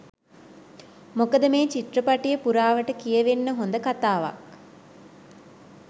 මොකද මේ චිත්‍රපටය පුරාවට කියවෙන්න හොඳ කතාවක්.